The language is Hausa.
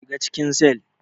Shiga cikin cell.